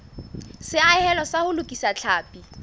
seahelo sa ho lokisa tlhapi